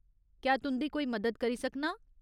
क्या तुं'दी कोई मदद करी सकनां ?